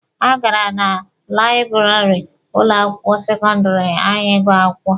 Ha gara na laịbụrarị ụlọ akwụkwọ sekọndịrị anyị ịgụ akwụkwọ.